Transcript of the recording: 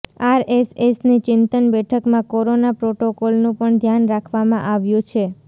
આરએસએસની ચિંતન બેઠકમાં કોરોના પ્રોટોકોલનું પણ ધ્યાન રાખવામાં આવ્યું છે